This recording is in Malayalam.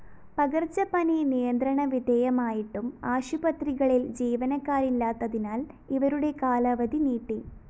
പകര്‍ച്ചപ്പനി നിയന്ത്രണ വിധേയമായിട്ടും ആശുപത്രികളില്‍ ജീവനക്കാരില്ലാത്തതിനാല്‍ ഇവരുടെ കാലാവധി നീട്ടി